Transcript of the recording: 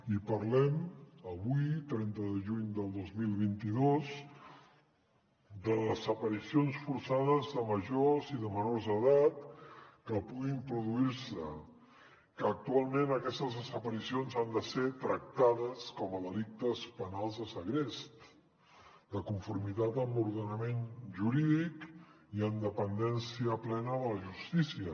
i parlem avui trenta de juny del dos mil vint dos de desaparicions forçades de majors i de menors d’edat que puguin produir se que actualment aquestes desaparicions han de ser tractades com a delictes penals de segrest de conformitat amb l’ordenament jurídic i en dependència plena de la justícia